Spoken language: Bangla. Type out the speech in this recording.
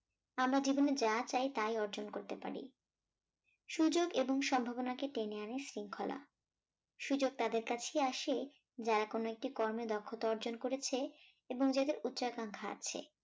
আমরা জীবনে যা চাই তাই অর্জন করতে পারি সুযোগ এবং সম্ভাবনাকে টেনে আনে শৃঙ্খলা সুযোগ তাদের কাছেই আসে যারা কোন একটি কর্মে দক্ষতা অর্জন করেছে এবং যাদের উচ্ছে আকাঙ্ক্ষা আছে